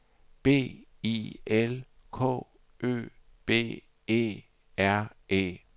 B I L K Ø B E R E